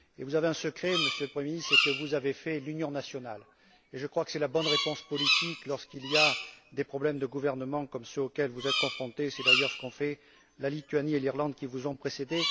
Vous avez un secret, Monsieur le Premier ministre, c'est que vous avez fait l'union nationale et je crois que c'est la bonne réponse politique lorsqu'il y a des problèmes de gouvernement comme ceux auxquels vous êtes confrontés, et c'est d'ailleurs ce qu'on fait la Lituanie et l'Irlande, qui vous ont précédé.